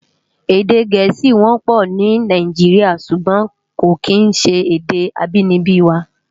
Èdè Gẹẹsi wọpọ ni Náijiriá ṣúgbòn kó kín ṣé èdè ábìníbi wá